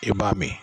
I b'a min